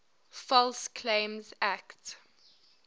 false claims act